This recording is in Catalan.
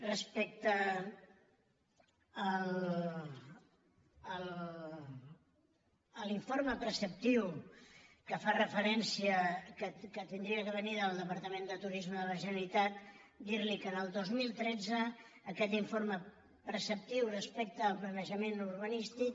respecte a l’informe preceptiu que hauria de venir del departament de turisme de la generalitat dir·li que el dos mil tretze aquest informe preceptiu respecte al planeja·ment urbanístic